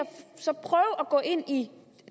og at gå ind i